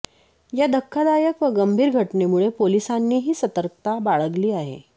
या धक्कादायक व गंभीर घटनेमुळे पोलिसांनीही सतर्कता बाळगली आहे